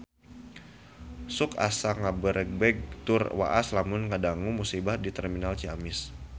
Sok asa ngagebeg tur waas lamun ngadangu musibah di Terminal Ciamis